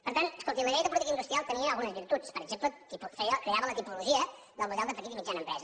per tant escolti la llei de política industrial tenia algunes virtuts per exemple creava la tipologia del model de petita i mitjana empresa